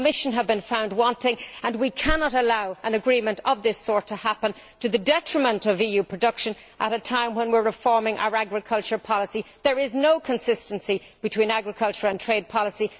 The Commission has been found wanting, and we cannot allow an agreement of this sort to happen to the detriment of EU production at a time when we are reforming our agricultural policy. There is no consistency between agriculture and trade policy.